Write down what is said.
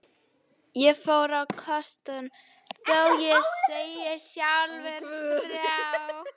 Ég fór á kostum, þó ég segi sjálfur frá.